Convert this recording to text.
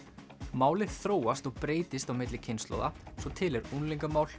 málið þróast og breytist á milli kynslóða til er